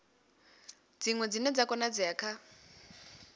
dziṅwe dzine dza konadzea kha